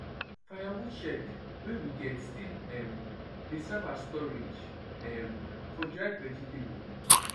firewood shed wey we get still um dey serve as storage um for dried vegetable